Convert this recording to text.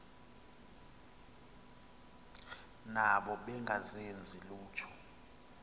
nabo bengazenzi lutho